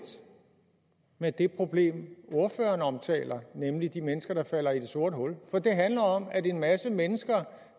med det problem ordføreren omtaler nemlig de mennesker der falder i et sort hul for det handler om at en masse mennesker